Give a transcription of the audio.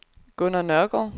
Gunnar Nørgaard